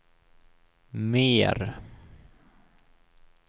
mer